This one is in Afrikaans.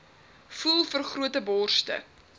voel vergrote borste